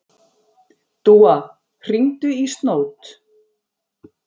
Dúa, hringdu í Snót.